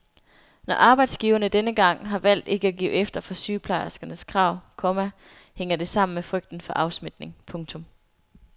Når arbejdsgiverne denne gang har valgt ikke at give efter for sygeplejerskernes krav, komma hænger det sammen med frygten for afsmitning. punktum